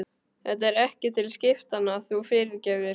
Þetta er ekki til skiptanna, þú fyrirgefur.